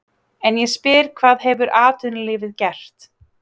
En ég spyr hvað hefur atvinnulífið gert?